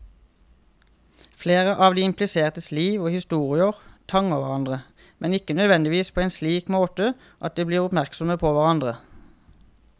Flere av de implisertes liv og historier tangerer hverandre, men ikke nødvendigvis på en slik måte at de blir oppmerksomme på hverandre.